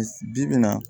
Bi-bi in na